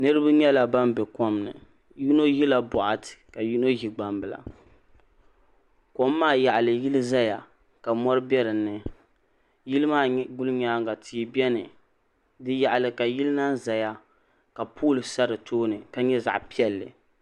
Niriba nyɛla ban be komni yino ʒila boɣati ka yino ʒi gbambila kom maa yaɣali yili zaya ka mori be dinni yili maa gulinyaanga tihi biɛni di yaɣali ka yili laha zaya ka pooli sa si tooni ka si kuli nyɛ zaɣa piɛlli.